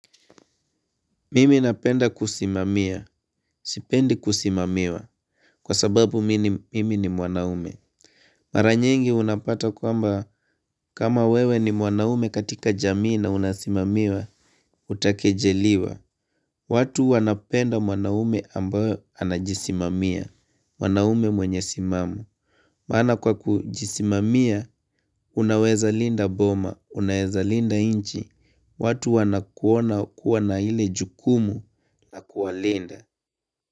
Mimi napenda kusimamia. Sipendi kusimamiwa. Kwa sababu mimi ni mwanaume. Mara nyingi unapata kwamba kama wewe ni mwanaume katika jamii na unasimamiwa, utakejeliwa. Watu wanapenda mwanaume ambayo anajisimamia. Mwanaume mwenye simamu. Maana kwa kujisimamia, unaweza linda boma, unaweza linda inchi. Watu wanakuona kuwa na ile jukumu ya kuwalinda.